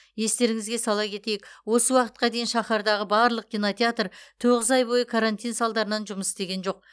естеріңізге сала кетейік осы уақытқа дейін шаһардағы барлық кинотеатр тоғыз ай бойы карантин салдарынан жұмыс істеген жоқ